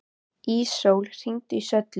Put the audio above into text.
Ísól, hringdu í Söllu.